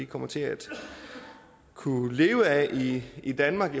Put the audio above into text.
kommer til at kunne leve af i danmark